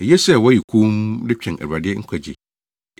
Eye sɛ wɔyɛ komm de twɛn Awurade nkwagye.